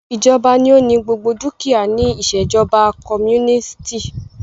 Ìjọba ní o ní gbogbo dúkìá ní ìṣèjọba comúnìstì.